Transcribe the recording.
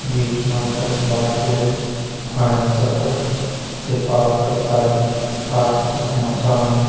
बीच मा तख बाटू फंड तख तिरपाल क ताड़ी पाछू तख मकान।